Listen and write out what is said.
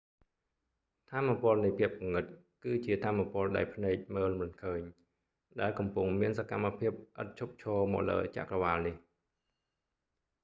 ថាមពលនៃភាពងងឹតគឺជាថាមពលដែលភ្នែកមើលមិនឃើញ ដែលកំពុងមានសកម្មភាពឥតឈប់ឈរមកលើចក្រវាឡនេះ